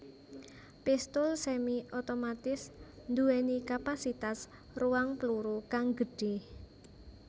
Pistul semi otomatis nduwèni kapasitas ruang pluru kang gedhé